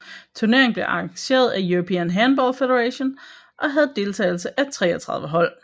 Turneringen blev arrangeret af European Handball Federation og havde deltagelse af 33 hold